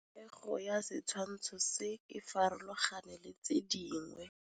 Popêgo ya setshwantshô se, e farologane le tse dingwe.